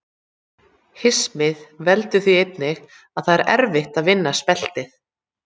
Hismið veldur því einnig að það er erfitt að vinna speltið.